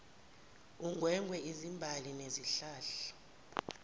ungwengwe izimbali nezihlahla